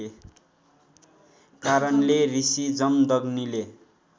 कारणले ऋषी जमदग्नीले